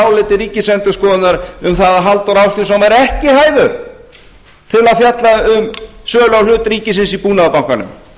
áliti ríkisendurskoðunar um það að halldór ásgrímsson væri ekki hæfur til að fjalla um sölu á hlut ríkisins í búnaðarbankanum